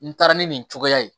N taara ni nin cogoya ye